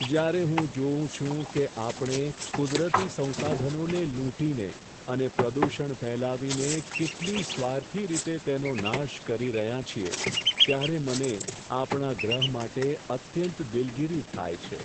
જ્યારે હું જોઉં છું કે આપણે કુદરતી સંસાધનોને લૂંટીને અને પ્રદૂષણ ફેલાવીને કેટલી સ્વાર્થી રીતે તેનો નાશ કરી રહ્યા છીએ, ત્યારે મને આપણા ગ્રહ માટે અત્યંત દિલગીરી થાય છે.